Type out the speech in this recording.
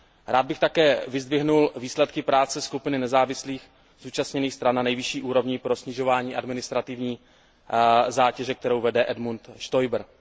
Rád bych také vyzdvihnul výsledky práce skupiny nezávislých zúčastněných stran na nejvyšší úrovni pro snižování administrativní zátěže, kterou vede Edmund Stoiber.